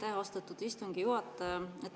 Aitäh, austatud istungi juhataja!